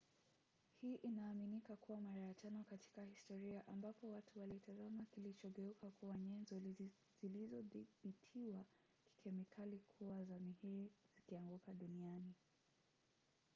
hii inaaminika kuwa mara ya tano katika historia ambapo watu walitazama kilichogeuka kuwa nyenzo zilizothibitiwa kikemikali kuwa za mihiri zikianguka duniani